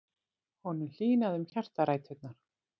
Honum hlýnaði um hjartaræturnar.